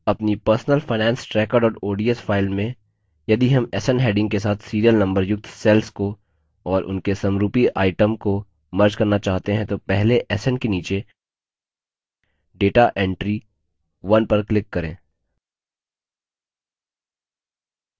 अपनी personal finance tracker ods file में यदि हम sn heading के साथ serial number युक्त cells को और उनके समरूपी items को merge करना चाहते हैं तो पहले sn के नीचे data entry 1 पर click करें